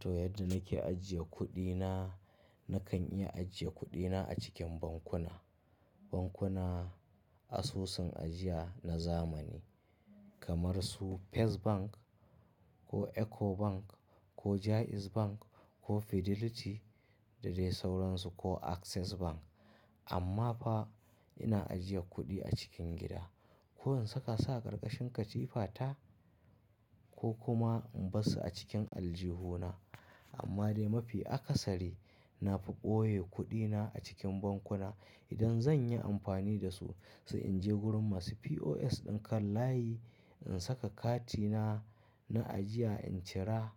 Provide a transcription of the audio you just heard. To yadda nake ajiye kuɗina nakan iya ajiye kuɗina a cikin bankuna. Bankuna asusun ajiya na zamani kamar su First Bank ko EcoBank ko Jaiz Bank ko Fidelity da dai sauransu ko Access Bank. Amma fa ina ajiye kuɗi a cikin gida. Ko in saka sa karkashin katifata ko kuma in bar su a cikin aljihuna. Amma dai mafi akasari na fi ɓoye kuɗina a cikin bankuna. Idan zan yi amfani da su, sai in je gurin masu POS ɗin kan layi in saka katina na ajiya in cira.